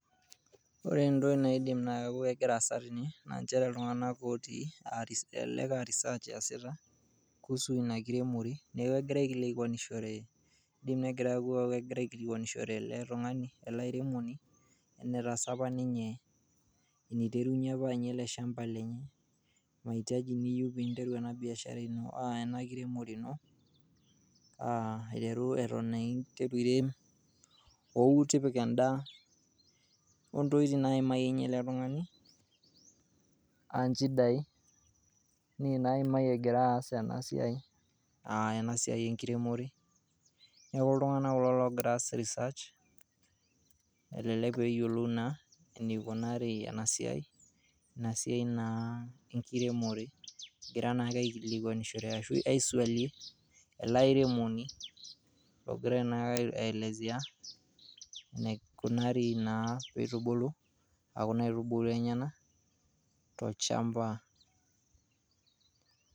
Ore entoki naidim naa egira aasa tene naa inchere ltunganak ogira atii elelek naa research easita kuhusu ina kiremore naaku egira aikilikwanushore ale tungani ale airemoni netaasa apa ninye, neiterunye apa anya ale lshamba lenye maitaji niyeu piinteru ena biashara ino oana kiremore ino, aiteru eton naa ireem wou tipika endaa ontokitin naiimaye ninye ale tungani aa nchidai ninye naimaiye egira aas ana siaai enkiremore, naaku ltungana kulo loogira aas research elelek peeyiolou naa eneikunari ena siai, ina siaai naa enkiremore egira naake aikilikwanushore ashu aiswali ale airemoni ogira naake aielesea neikunari naa peitubulu kuna aitubulu enyena to lchamba